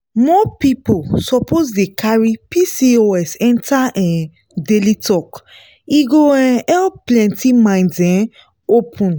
more people suppose dey carry pcos enter um daily talk e go um help plenty minds um open.